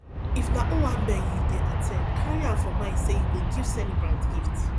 if na owambe you dey at ten d carry am for mind sey you go give celebrant gift